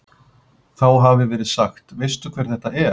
Þá hafi verið sagt: Veistu hver þetta er?